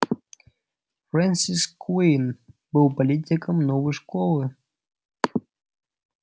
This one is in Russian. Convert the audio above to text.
фрэнсис куинн был политиком новой школы